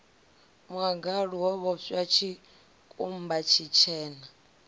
muḽagalu wo vhoxwa tshikumba tshitshena